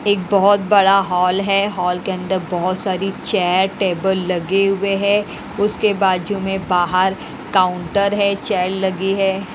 एक बहुत बड़ा हॉल है हॉल के अंदर बहुत सारी चेयर टेबल लगे हुए हैं उसके बाजू में बाहर काउंटर है चेयर लगी है।